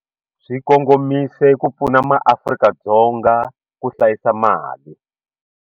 Swi kongomise ku pfuna MaAfrika-Dzonga ku hlayisa mali.